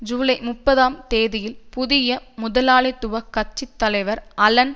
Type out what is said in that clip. ஜூலை முப்பதாம் தேதி லில் புதிய முதலாளித்துவ கட்சி தலைவர் அலன்